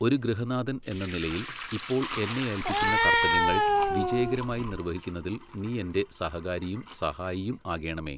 ഒരു ഗൃഹനാഥൻ എന്ന നിലയിൽ ഇപ്പോൾ എന്നെ ഏൽപ്പിക്കുന്ന കർത്തവ്യങ്ങൾ വിജയകരമായി നിർവഹിക്കുന്നതിൽ നീ എന്റെ സഹകാരിയും സഹായിയും ആകേണമേ.